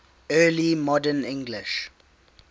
early modern english